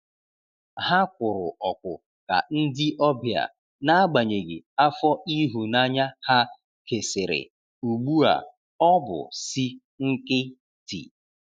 Ha kwụrụ ọkwụ ka ndi ọbia, n'agbanyeghi afọ ihunanya ha kesịrị ugbu a ọbụ si nkitị